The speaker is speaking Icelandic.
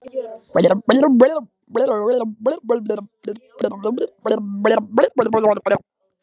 Hvernig sýnist þér eftir þá yfirferð að framkvæmdin hafi verið?